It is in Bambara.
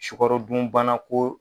Sukarodunbana ko